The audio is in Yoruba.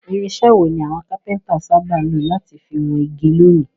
Irinsẹ́ wo ni àwon Kápẹ́ńtà sábà lo láti fi won igi lónìí?